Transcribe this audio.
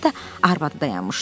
Yanında da arvadı dayanmışdı.